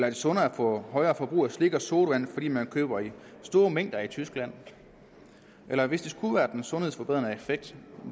det sundere at få højere forbrug af slik og sodavand fordi man køber i store mængder i tyskland eller hvis det skulle være den sundhedsforbedrende effekt